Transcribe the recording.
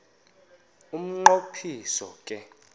umnqo phiso ke